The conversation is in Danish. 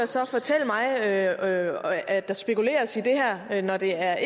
så fortælle mig at at der spekuleres i det her når det er